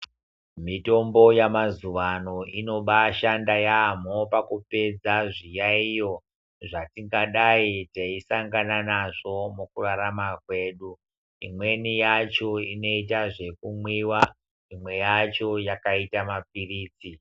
Mitombo yamazuvaano inobaashanda yamho pakupedza zviyaiyo zvatingadai teisangana nazvo mukurarama kwedu. Imweni yacho inoita zvekumwiwa, imwe yacho yakaita mapirizi.